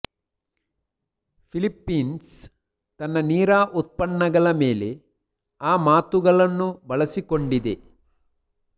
Philippines ತನ್ನ ನೀರಾ ಉತ್ಪನ್ನಗಳ ಮೇಲೆ ಆ ಮಾತುಗಳನ್ನು ಬಳಸಿಕೊಂಡಿದೆ